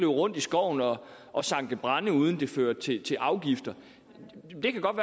rundt i skoven og og sanke brænde uden at det førte til til afgifter kan det godt